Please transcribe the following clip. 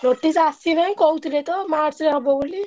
Notice ଆସିନାହିଁ କହୁଥିଲେ ତ March ରେ ହବ ବୋଲି।